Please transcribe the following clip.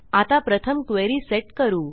आता प्रथम query set करू